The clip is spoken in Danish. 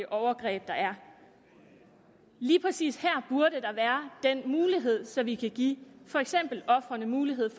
overgreb der er lige præcis her burde der være den mulighed så vi kan give ofrene mulighed